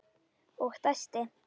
Og dæsti.